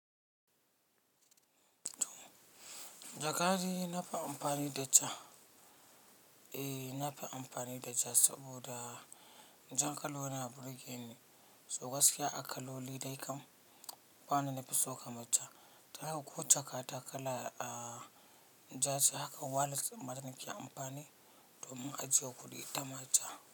Jakadai na fi amfani da ja. Eh, na fi amfani da ja saboda jan kalona burgeni so gaskiya a kaloli dai kam. Ba wanda nafison ka matta dan haka ko jaka ta kala ja ce, hakan wallets din ma dani ke amfani domin ajiye kuɗi ta ma ja.